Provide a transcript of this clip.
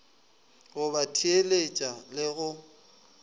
go ba theeletša le go